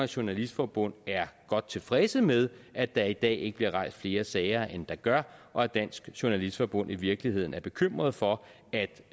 journalistforbund er godt tilfredse med at der i dag ikke bliver rejst flere sager end der gør og at dansk journalistforbund i virkeligheden er bekymret for